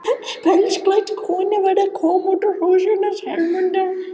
Pelsklædd kona var að koma út úr húsinu hans Hermundar.